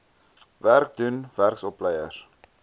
werk doen werksopleiers